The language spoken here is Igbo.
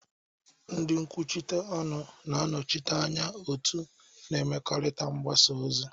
Ndị nkwuchite ọnụ na-anọchite anya otu na mmekọrịta mgbasa ozi.